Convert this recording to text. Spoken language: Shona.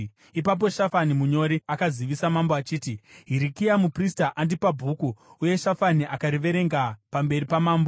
Ipapo Shafani munyori akazivisa mambo achiti, “Hirikia muprista andipa bhuku.” Uye Shafani akariverenga pamberi pamambo.